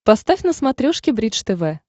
поставь на смотрешке бридж тв